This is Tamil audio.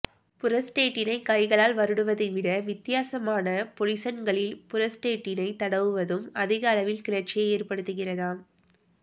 புரஸ்டேட்டினை கைகளால் வருடுவதை விட வித்தியாசமான பொஸிசன்களில் புரஸ்டேட்டினை தடவுவதும் அதிக அளவில் கிளர்ச்சியை ஏற்படுத்துகிறதாம்